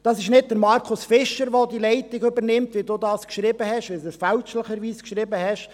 Es ist nicht Markus Fischer, der die Leitung übernimmt, wie Sie fälschlicherweise geschrieben haben.